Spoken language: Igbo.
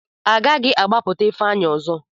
A gaghị agbapụta Ifeanyị ọzọ.